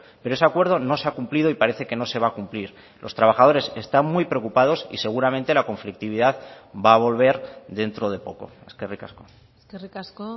pero ese acuerdo no se ha cumplido y parece que no se va a cumplir los trabajadores están muy preocupados y seguramente la conflictividad va a volver dentro de poco eskerrik asko eskerrik asko